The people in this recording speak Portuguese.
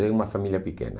eu e uma família pequena.